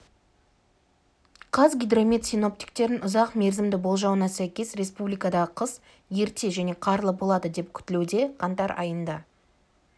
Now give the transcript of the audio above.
қазгидромет синоптиктерінің ұзақ мерзімді болжауына сәйкес республикадағы қыс ерте және қарлы болады деп күтілуде қаңтар айында